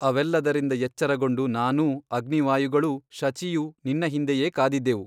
ಅವೆಲ್ಲದರಿಂದ ಎಚ್ಚರಗೊಂಡು ನಾನೂ ಅಗ್ನಿವಾಯುಗಳೂ ಶಚಿಯೂ ನಿನ್ನ ಹಿಂದೆಯೇ ಕಾದಿದ್ದೆವು.